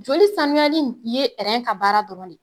Joli sanuyali in ye ka baara dɔrɔn de.